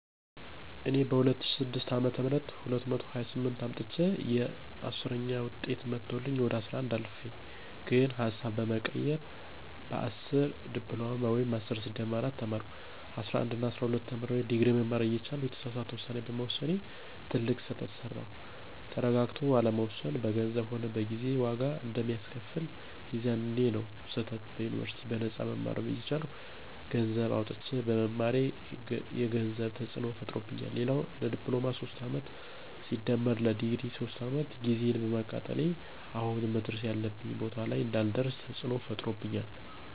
እኔ በ2006 አ /ም 228 አምጥቸየ 10ዉጤት መቶልኝ ወደ 11 አልፌ ግን ሀሳብ በመቀየር በ10 ዲፕሎማ ወይም10+4 ተማርኩ። 11እና 12ተምሬ ድግሪ መማር እየቻልኩ የተሳሳተ ዉሳኔ በመወሰኔ ትልቅ ስህተት ሰራዉ። ተረጋግቶ አለመወሰን በገንዘብም ሆነ በጊዜ ዋጋ አንደሚያስከፍል፦ የዛኔዉ ስህተት ዩኒበርሲቲ በነጳ መማር እየቻልኩ ገነሰዘብ አዉጥቸ በመማሬ የገንዘብ ተፅዕኖ ፈጥሮብኛል፣ ሌላዉ ለዲፕሎማ 3 አመት+ለድግሪ 3 አመት ጊዜየን በማቃጠሌ አሁን መድረስ ያለብኝ ቦታ ላይ እንዳልደርሰ ተፅዕኖ ፈጥሮብኛል